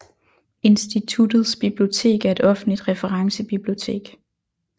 Instituttets bibliotek er et offentligt referencebibliotek